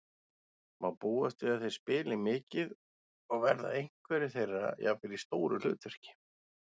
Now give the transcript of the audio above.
Má búast við að þeir spili mikið og verða einhverjir þeirra jafnvel í stóru hlutverki?